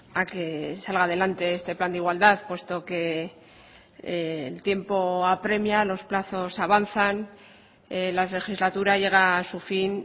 a que salga adelante este plan de igualdad puesto que el tiempo apremia los plazos avanzan la legislatura llega a su fin